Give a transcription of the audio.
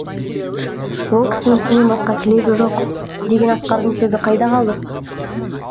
ол кісінің сенен басқа тілегі жоқ деген асқардың сөзі қайда қалды